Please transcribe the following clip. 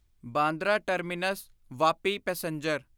Bandra terminus Vapi passenger